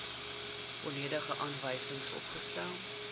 volledige aanwysings opgestel